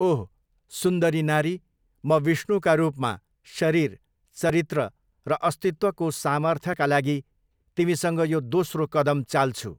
ओह! सुन्दरी नारी, म, विष्णुका रूपमा, शरीर, चरित्र र अस्तित्वको सामर्थ्यका लागि तिमीसँग यो दोस्रो कदम चाल्छु।